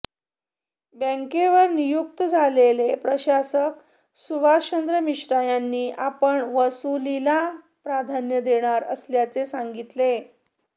बँकेवर नियुक्त झालेले प्रशासक सुभाषचंद्र मिश्रा यांनी आपण वसुलीला प्राधान्य देणार असल्याचे सांगितले